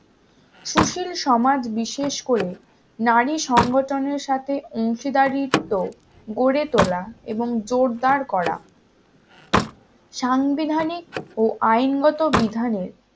সুশীল সমাজ বিশেষ করে নারী সংগঠনের সাথে অংশীদারিত্ব গড়ে তোলা এবং জোরদার করা সাংবিধানিক ও আইনগত বিধানের